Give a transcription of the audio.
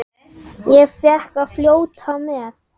Ég fékk að fljóta með.